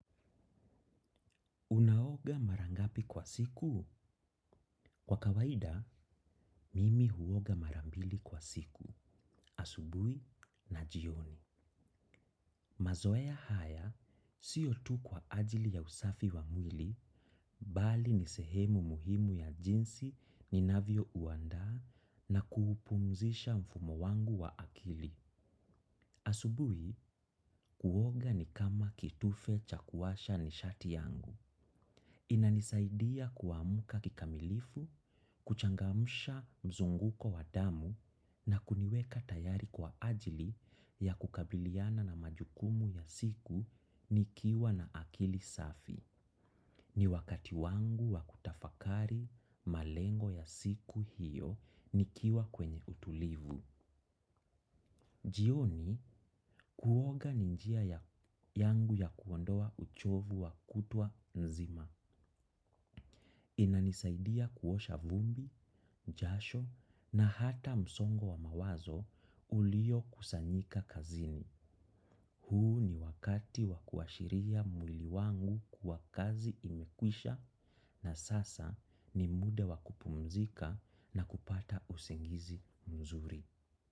Unaoga marangapi kwa siku? Kwa kawaida, mimi huoga marambili kwa siku, asubui na jioni. Mazoea haya, siyo tu kwa ajili ya usafi wa mwili, bali nisehemu muhimu ya jinsi ni navyo uanda na kuhupumzisha mfumo wangu wa akili. Asubui, kuoga ni kama kitufe cha kuwasha ni shati yangu. Inanisaidia kuamuka kikamilifu, kuchangamusha mzunguko wadamu na kuniweka tayari kwa ajili ya kukabiliana na majukumu ya siku nikiwa na akili safi. Ni wakati wangu wa kutafakari malengo ya siku hiyo nikiwa kwenye utulivu. Jio ni kuoga ninjia yangu ya kuondoa uchovu wa kutwa nzima. Inanisaidia kuosha vumbi, jasho na hata msongo wa mawazo ulio kusanyika kazini. Huu ni wakati wakuashiria mwiliwangu kuwa kazi imekwisha na sasa ni muda wakupumzika na kupata usingizi mzuri.